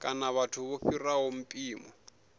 kana vhathu vho fhiraho mpimo